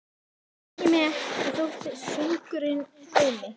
Ég beygi mig ekki þótt söngurinn hljómi